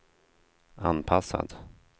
anpassad